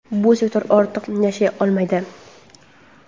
bu sektor ortiq yashay olmaydi.